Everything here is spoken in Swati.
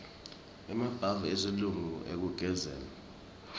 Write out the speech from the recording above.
emabhavu esilungu ekugezela